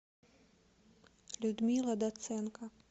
людмила доценко